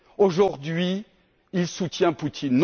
Aujourd'hui, il soutient Poutine.